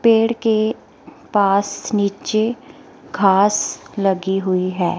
पेड़ के पास नीचे घास लगी हुई है।